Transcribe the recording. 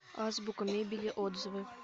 азбука мебели отзывы